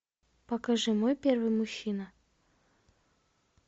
покажи мой первый мужчина